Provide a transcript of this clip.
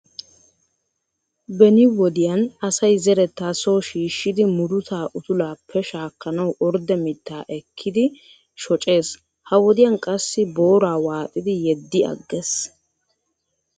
Beni wodiyaan asay zeretta soo shiishshidi muruta utulappe shaakanawa ordde mittaa ekkidi shooccees. Ha wodiyaan qassi booraa waaxxidi yeddi agees.